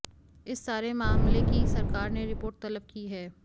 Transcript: इस सारे मामले की सरकार ने रिपोर्ट तलब की है